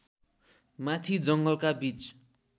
माथि जङ्गलका बीच